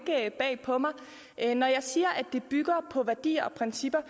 bag på mig når jeg siger at det bygger på værdier og principper